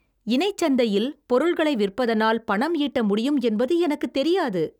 இணைச் சந்தையில் பொருள்களை விற்பதனால் பணம் ஈட்ட முடியும் என்பது எனக்குத் தெரியாது.